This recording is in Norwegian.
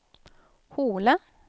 Hole